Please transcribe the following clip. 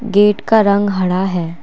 Gate का रंग हरा है।